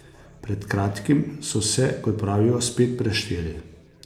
Pred kratkim so se, kot pravijo, spet prešteli.